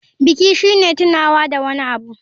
Biki shine tunawa da wani abu.